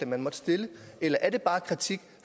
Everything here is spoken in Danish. man måtte stille eller er det bare kritik